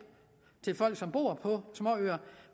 til folk som bor på småøer